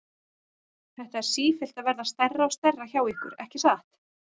Þetta er sífellt að verða stærra og stærra hjá ykkur, ekki satt?